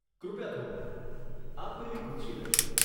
કૃપયા થોભો, આપ પેલી ખુરશી લઇ શકો.